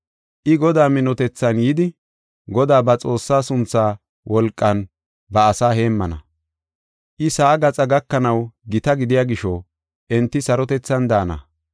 I Godaa minotethan yidi, Godaa ba Xoossaa suntha wolqan ba asaa heemmana. I sa7aa gaxa gakanaw gita gidiya gisho, enti sarotethan daana.